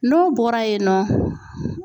N'o bɔra yen nɔ